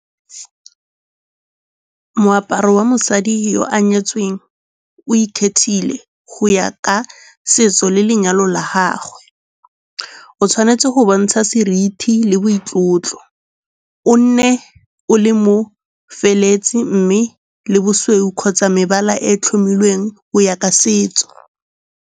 Moaparo wa mosadi yo o nyetsweng o ikgethile go ya ka setso le lenyalo la gagwe. O tshwanetse go bontsha seriti le boitlotlo, o nne o le mo feleletsi mme le bosweu kgotsa mebala e tlhomilweng go ya ka setso.